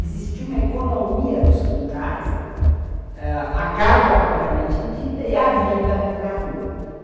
Existe uma economia dos quintais ãh, a casa propriamente dita e a vida para a rua.